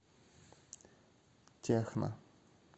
техно